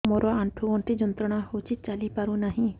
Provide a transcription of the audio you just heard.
ମୋରୋ ଆଣ୍ଠୁଗଣ୍ଠି ଯନ୍ତ୍ରଣା ହଉଚି ଚାଲିପାରୁନାହିଁ